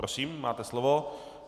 Prosím, máte slovo.